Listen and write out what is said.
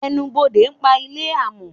Ẹnubodè pa ile amò